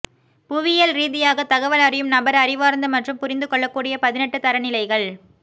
புவியியல்ரீதியாக தகவல் அறியும் நபர் அறிவார்ந்த மற்றும் புரிந்து கொள்ளக்கூடிய பதினெட்டு தரநிலைகள்